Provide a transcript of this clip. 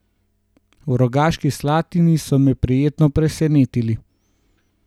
V Rogaški Slatini so me prijetno presenetili.